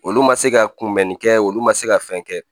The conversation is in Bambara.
Olu ma se ka kunbɛnni kɛ olu ma se ka fɛn kɛ